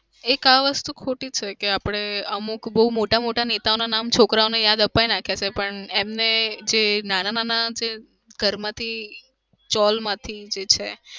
એક આ વસ્તુ ખોટી છે કે આપણે અમુક બઉ મોટા મોટા નેતાના નામ છોકરાઓને યાદ આપાઈ નાખ્યા છે પણ એમને જે નાના ઘરમાંથી ચૌલ માંથી જે છે